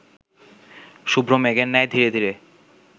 শুভ্র মেঘের ন্যায় ধীরে ধীরে